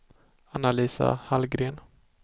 Anna-Lisa Hallgren